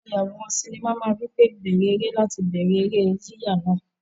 Ayàwòrán sinimá máa wí pé "bẹ̀rẹ̀ eré" láti bẹ̀rẹ̀ eré yíyà náà.